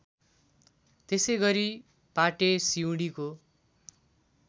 त्यसैगरी पाटे सिउँडीको